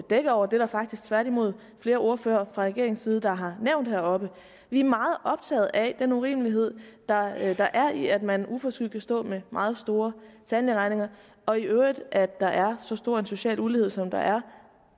dække over der er faktisk tværtimod flere ordførere fra regeringens side der har nævnt det heroppe vi er meget optaget af den urimelighed der er der er i at man uforskyldt kan stå med meget store tandlægeregninger og i øvrigt at der er så stor en social ulighed som der